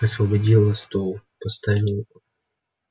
освободила стол поставила на него бутылку с вином и сплющенный тортик